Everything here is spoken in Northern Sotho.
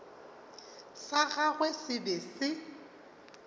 sa gagwe se be se